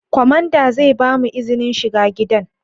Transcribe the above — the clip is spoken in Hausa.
Kwamanda zai bamu izinin shiga gidan